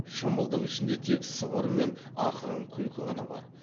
шымылдық ішінде тек сыбыр мен ақырын күлкі ғана бар